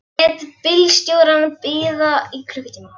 Ég lét bílstjórann bíða í klukkutíma.